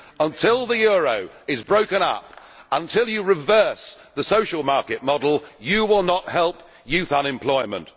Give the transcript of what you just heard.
Until the euro is broken up, until you reverse the social market model you will not help youth unemployment.